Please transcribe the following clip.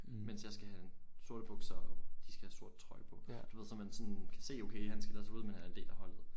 Mens jeg skal have en sorte bukser og de skal have sort trøje på du ved så man sådan kan se okay han skiller sig ud men han er en del af holdet